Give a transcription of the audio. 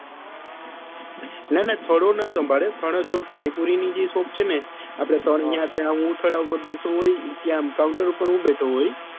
ના ના થડો નાં સંભાળે આપડે જે પાણીપુરી ની જે shop છે ને ત્યાં હું થાડા પર હું બેઠો હોય ત્યાં counter ઉપર હું બેઠો હોય